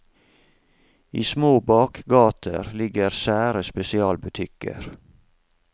I små bakgater ligger sære spesialbutikker.